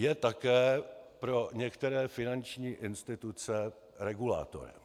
Je také pro některé finanční instituce regulátorem.